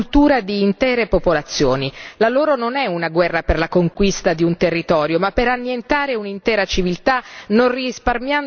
La loro non è una guerra per la conquista di un territorio, ma per annientare un'intera civiltà non risparmiando neanche i simboli della storia.